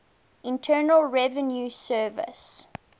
internal revenue service